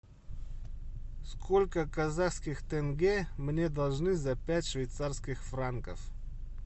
сколько казахских тенге мне должны за пять швейцарских франков